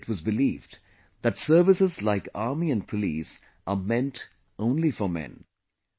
Earlier it was believed that services like army and police are meant only for men